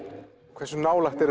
hversu nálægt er